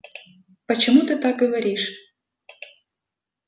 почему ты так говоришь